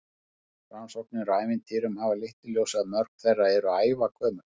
Rannsóknir á ævintýrum hafa leitt í ljós að mörg þeirra eru ævagömul.